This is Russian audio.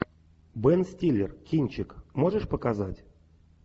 бен стиллер кинчик можешь показать